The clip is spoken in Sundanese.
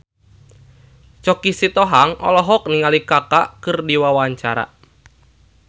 Choky Sitohang olohok ningali Kaka keur diwawancara